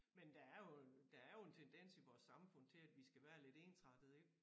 Men der er jo en der er jo en tendens i vores samfund til at vi skal være lidt ensrettede ik